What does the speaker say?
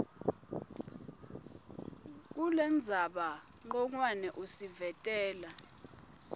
kulendzaba ncongwane usivetela